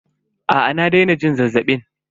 Aa na daina jin zazzabin.